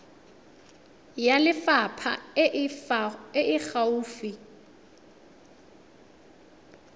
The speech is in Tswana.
ya lefapha e e gaufi